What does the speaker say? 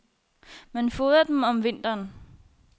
Man fodrer dem om vinteren.